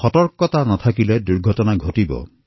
সতৰ্কতা হেৰুৱালে দুৰ্ঘটনা ঘটে